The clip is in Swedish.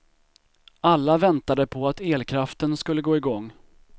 Alla väntade på att elkraften skulle gå igång.